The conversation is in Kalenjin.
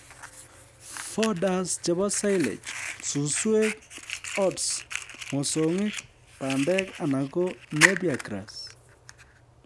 Fodders chebo silage:Suswek, oats, mosongik, bandek anan ko Napier grass